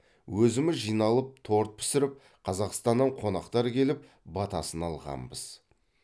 өзіміз жиналып торт пісіріп қазақстаннан қонақтар келіп батасын алғанбыз